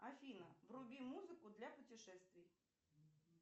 афина вруби музыку для путешествий